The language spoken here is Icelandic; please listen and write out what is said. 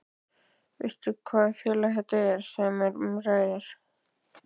Veistu hvaða félag þetta er sem um ræðir?